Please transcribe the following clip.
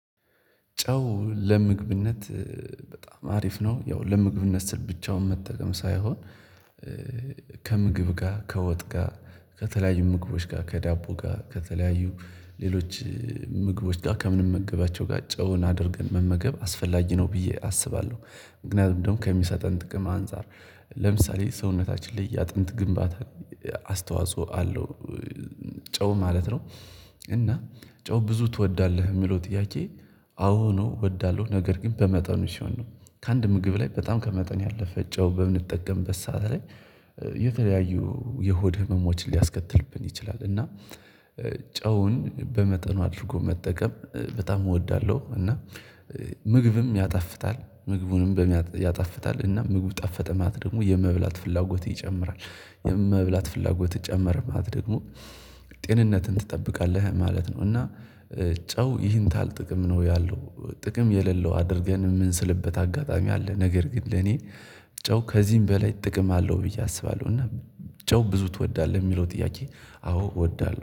ጨው ለመግብነት በጣም አሪፍ ነው ያው ለመግብነት ስል ብቻውን መጠቀም ሳይሆን። ከምግብ ጋር ከወጥ ጋር ከተለያዩ ምግቦች ጋር ከዳቦ ጋር ከተለያዩ ሌሎች ምግቦች ጋር ከምንመገባቸው ጋር ጨውን አድርገን መመገብ አስፈላጊ ነው ብዬ አስባለሁ። ምክንያቱም ደግሞ ከሚሰጠን ጥቅም አንፃር ለምሳሌ ሰውነታችን ላይ የአጥንት ግንባታ አስተዋጽኦ አለው። ጨው ማለት ነው እና ጨው ብዙ ትወዳለህ የሚለው ጥያቄ? አዎ ነው እወዳለሁ ነገር ግን በመጠኑ ሲሆን ነው። ከአንድ ምግብ ላይ በጣም ከመጠን ያለፈ ጨው በምንጠቀምበት ሰዓት ላይ። የተለያዩ የሆድ ህመሞችን ሊያስከትልብን ይችላል እና። ጨውን በመጠኑ አድርጎ መጠቀም በጣም እወዳለሁ። እና ምግብም ያጣፍታል ምግቡንም ያጣፍታል እና ምግቡ ጣፈጠ ማለት ደግሞ የመብላት ፍላጎት ይጨምራል። የመብላት ፍላጎትህ ጨመረ ማለት ደግሞ ጤንነትን ትጠብቃለህ ማለት ነው። እና ጨው ይህን ያህል ጥቅም ነው ያለው። ጥቅም የሌለው አድርገን የምናስብበት አጋጣሚ አለ ነገር ግን ለኔ ጨው ከዚህም በላይ ጥቅም አለው ብዬ አስባለሁ። እና ጨው ብዙ ትወዳለህ የሚለው ጥያቄ? አዎ እወዳለሁ